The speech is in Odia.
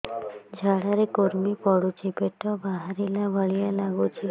ଝାଡା ରେ କୁର୍ମି ପଡୁଛି ପେଟ ବାହାରିଲା ଭଳିଆ ଲାଗୁଚି